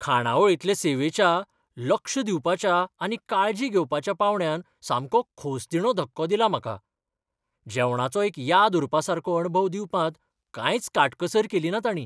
खाणावळींतले सेवेच्या लक्ष दिवपाच्या आनी काळजी घेवपाच्या पांवड्यान सामको खोसदिणो धक्को दिला म्हाका, जेवणाचो एक याद उरपासारको अणभव दिवपांत कांयच काटकसर केलीना ताणीं.